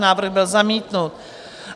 Návrh byl zamítnut.